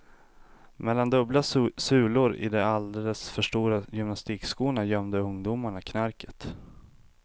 Mellan dubbla sulor i de alldeles för stora gymnastikskorna gömde ungdomarna knarket.